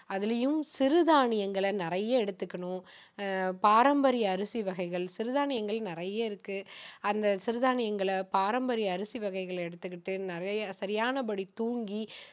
அதுலேயும் சிறு தானியங்களை நிறைய எடுத்துக்கணும் அஹ் பாரம்பரிய அரிசி வகைகள் சிறு தானியங்கள் நிறைய இருக்கு அந்த சிறு தானியங்களை பாரம்பரிய அரிசி வகைகளை எடுத்துக்கிட்டு நிறைய சரியான படி தூங்கி